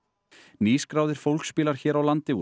nýskráðir fólksbílar hér á landi voru